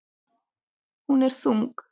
Hún er þung.